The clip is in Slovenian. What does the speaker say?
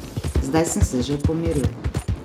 Zdaj sem se že pomiril.